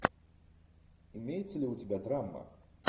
имеется ли у тебя драма